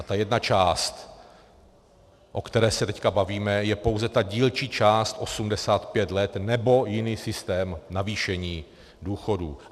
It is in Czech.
A ta jedna část, o které se teď bavíme, je pouze ta dílčí část 85 let, nebo jiný systém navýšení důchodů.